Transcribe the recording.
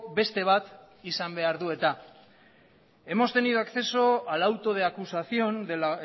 beste bat izan behar du eta hemos tenido acceso al auto de acusación del